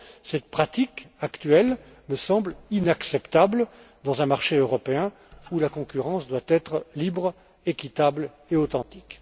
Cette pratique actuelle me semble inacceptable dans un marché européen où la concurrence doit être libre, équitable et authentique.